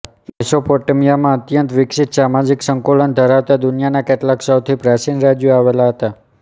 મેસોપોટેમીયામાં અત્યંત વિકસિત સામાજિક સંકુલતા ધરાવતા દુનિયાના કેટલાક સૌથી પ્રાચીન રાજ્યો આવેલા હતા